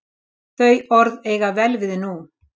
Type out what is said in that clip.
Þau orð eiga vel við nú.